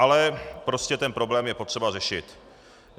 Ale prostě ten problém je potřeba řešit.